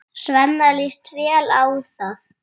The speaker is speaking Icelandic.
Svenna líst vel á það.